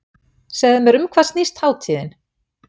Segðu mér um hvað snýst hátíðin?